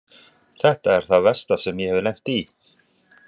Þetta er það versta sem ég hef lent í.